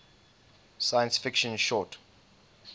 science fiction short